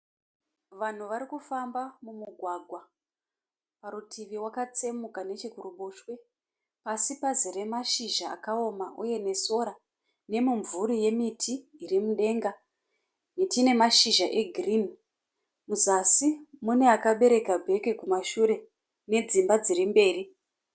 Vanhu vari kufamba mumugwagwa, parutivi waka tsemuka nechikurutivi neche kuruboswe. Pasi pazere mashizha akaoma uye nemashora , ne mumvuri yemiti, iri mudenga. Miti ine mashizha egirinhi. Muzasi mune akabereka bheki kumashure , nedzimba dziri mberi.